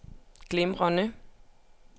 glimrende